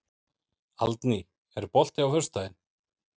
Aldný, er bolti á föstudaginn?